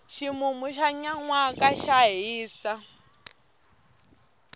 ximumu xa nyanwaka xa hisa